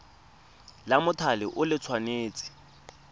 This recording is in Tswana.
la mothale o le tshwanetse